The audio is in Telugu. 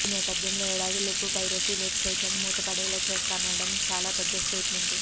ఈ నేపథ్యంలో ఏడాదిలోపు పైరసీ వెబ్ సైట్లన్నీ మూత పడేలా చేస్తాననడం చాలా పెద్ద స్టేట్మెంటే